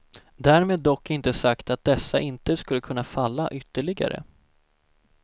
Därmed dock inte sagt att dessa inte skulle kunna falla ytterligare.